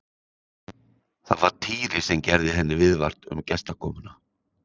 Það var Týri sem gerði henni viðvart um gestakomuna.